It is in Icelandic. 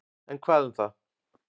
En hvað um það.